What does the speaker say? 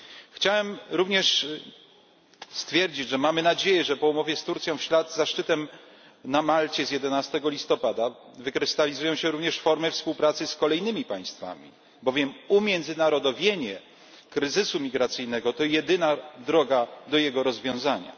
Chciałem również stwierdzić, że mamy nadzieję, iż po umowie z Turcją, w ślad za szczytem na Malcie z 11 listopada, wykrystalizują się również formy współpracy z kolejnymi państwami, bowiem umiędzynarodowienie kryzysu migracyjnego to jedyna droga do jego rozwiązania.